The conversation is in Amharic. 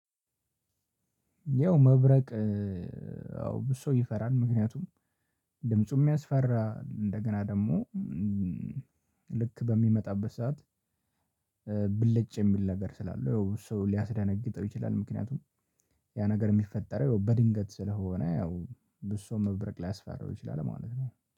ያው መብረቅ አዎ ብሶ ይፈራል ምክንያቱም ድምፁ የሚያስፈራ እንደገና ደግሞ ልክ በሚመጣበት ሰዓት ብልጭ የሚል ነገር ስላለው ያው ሰው ሊያስደነግጠው ይችላል። ምክንያቱም ያ ነገር የሚፈጠረው ያው በድንገት ስለሆነ ያው ብዙ ሰው መብረቅ ላይ አስፈራው ይችላል ማለት ነው